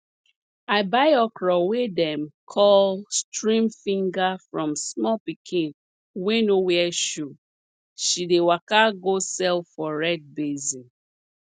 i buy okra wey dem call stream finger from small pikin wey no wear shoe she dey waka go sell for red basin